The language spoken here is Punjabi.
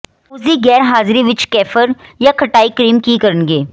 ਉਸਦੀ ਗੈਰਹਾਜ਼ਰੀ ਵਿੱਚ ਕੇਫਰ ਜਾਂ ਖਟਾਈ ਕਰੀਮ ਕੀ ਕਰਨਗੇ